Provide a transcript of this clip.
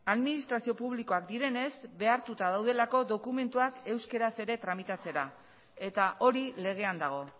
administrazio publikoak direnez behartuta daudelako dokumentuak euskaraz ere tramitatzera eta hori legean dago